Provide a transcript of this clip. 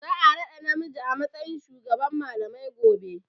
Za a raɗa namiji a matsayin shugaban malamai gobe.